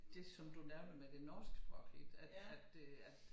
Det som du nævner med det norske sprog ik at at øh at